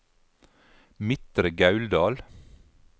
Midtre Gauldal